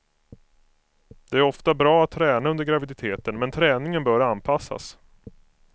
Det är ofta bra att träna under graviditeten, men träningen bör anpassas.